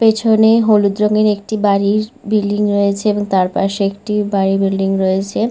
পেছনে হলুদ রঙের একটি বাড়ির বিল্ডিং রয়েছে এবং তার পাশে একটি বাড়ি বিল্ডিং রয়েছে।